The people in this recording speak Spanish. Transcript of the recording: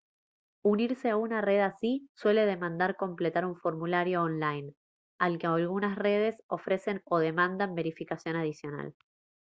unirse a una red así suele demandar completar un formulario online aunque algunas redes ofrecen o demandan verificación adicional